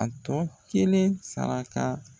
A tɔ kelen saraka.